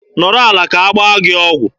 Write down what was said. Nọrọ ala ka agbaa gị ọgwụ!